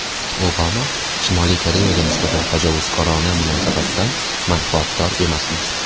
Obama: Shimoliy Koreyaga nisbatan tajovuzkorona munosabatdan manfaatdor emasmiz.